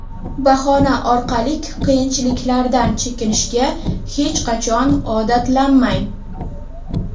bahona orqalik qiyinchiliklardan chekinishga hech qachon odatlanmang.